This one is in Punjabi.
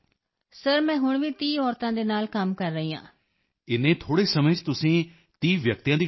ਹਾਂ ਸਰ ਇਸ ਸਾਲ ਆਪਣੇ ਖੇਤਰ ਵਿੱਚ ਮੈਂ 100 ਮਹਿਲਾਵਾਂ ਨੂੰ ਰੋਜ਼ਗਾਰ ਦੇਵਾਂਗੀ yes sir this year also more expand with 100 woman in my area